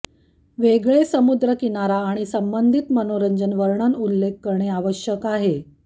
वेगळे समुद्रकिनारा आणि संबंधित मनोरंजन वर्णन उल्लेख करणे आवश्यक आहे